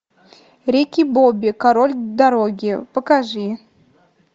рики бобби король дороги покажи